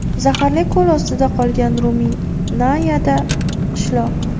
Zaharli ko‘l ostida qolgan Ruminiyadagi qishloq .